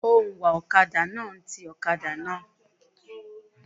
Òǹwà ọ̀kadà náà ń ti ọ̀kadà náà.